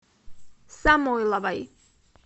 самойловой